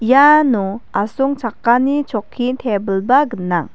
iano asongchakani chokki tebilba gnang.